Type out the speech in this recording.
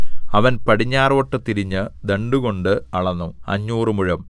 അവൻ പടിഞ്ഞാറോട്ടു തിരിഞ്ഞ് ദണ്ഡുകൊണ്ട് അളന്നു അഞ്ഞൂറ് മുഴം